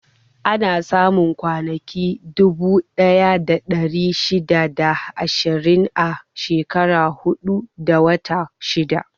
Ana samun kwanaki dubu ɗaya da ɗari shida da ashirin a shekara huɗu da wata shida.